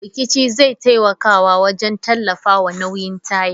Rikici zai taimaka wajen tallafawa nauyin taya.